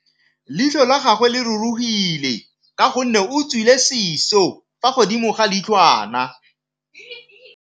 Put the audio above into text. Leitlhô la gagwe le rurugile ka gore o tswile sisô fa godimo ga leitlhwana.